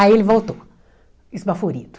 Aí ele voltou, esbaforido.